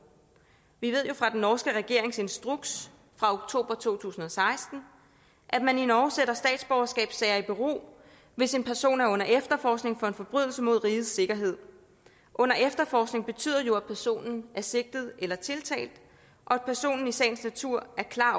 vi ved jo fra den norske regerings instruks fra oktober to tusind og seksten at man i norge sætter statsborgerskabssager i bero hvis en person er under efterforskning for en forbrydelse mod rigets sikkerhed under efterforskning betyder jo at personen er sigtet eller tiltalt og at personen i sagens natur er klar